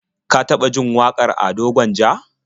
Ka taɓa jin wakar Ado Gwanja?